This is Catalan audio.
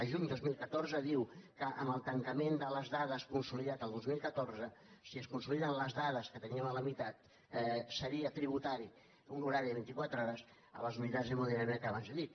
el juny del dos mil catorze diu que amb el tancament de les dades consolidat el dos mil catorze si es con·soliden les dades que teníem a la mitat seria tributari un horari de vint·i·quatre hores a les unitats d’hemo·dinàmica que abans he dit